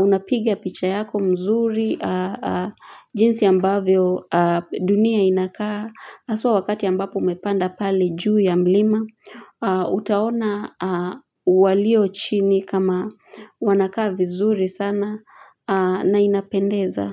Unapiga picha yako mzuri jinsi ambavyo dunia inakaa haswa wakati ambapo umepanda pale juu ya mlima, utaona walio chini kama wanaaka vizuri sana na inapendeza.